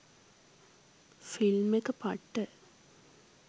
Film එක පට්ට.